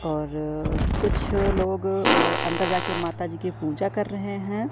और कुछ लोग अ अंदर जाके माता जी की पूजा कर रहे हैं।